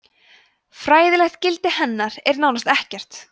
fræðilegt gildi hennar er nánast ekkert